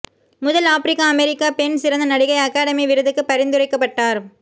முதல் ஆப்பிரிக்க அமெரிக்க பெண் சிறந்த நடிகை அகாடமி விருதுக்கு பரிந்துரைக்கப்பட்டார்